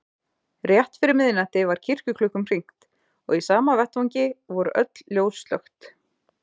Rétt fyrir miðnætti var kirkjuklukkum hringt- og í sama vetfangi voru öll ljós slökkt.